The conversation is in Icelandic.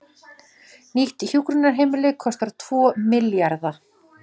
Nýtt hjúkrunarheimili kostar tvo milljarða